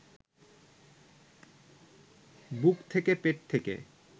বুক থেকে, পেট থেকে